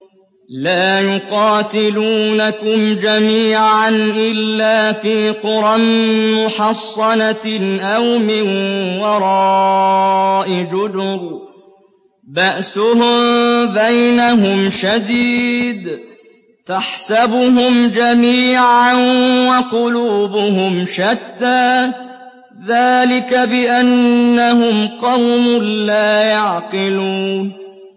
لَا يُقَاتِلُونَكُمْ جَمِيعًا إِلَّا فِي قُرًى مُّحَصَّنَةٍ أَوْ مِن وَرَاءِ جُدُرٍ ۚ بَأْسُهُم بَيْنَهُمْ شَدِيدٌ ۚ تَحْسَبُهُمْ جَمِيعًا وَقُلُوبُهُمْ شَتَّىٰ ۚ ذَٰلِكَ بِأَنَّهُمْ قَوْمٌ لَّا يَعْقِلُونَ